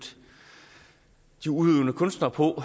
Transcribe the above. de udøvende kunstnere på